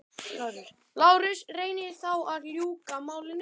LÁRUS: Reynið þá að ljúka málinu.